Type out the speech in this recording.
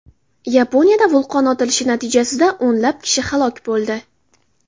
Yaponiyada vulqon otilishi natijasida o‘nlab kishi halok bo‘ldi.